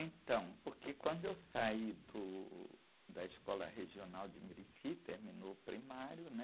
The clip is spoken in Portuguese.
Então, porque quando eu saí do, da escola regional de, terminou o primário, né?